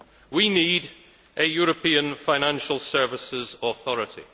We need a European financial services authority.